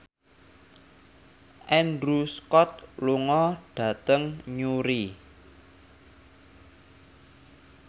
Andrew Scott lunga dhateng Newry